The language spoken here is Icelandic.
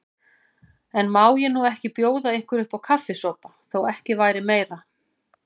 En má ég nú ekki bjóða ykkur uppá kaffisopa, þó ekki væri meira.